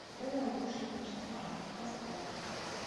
белая лошадь мертва поставь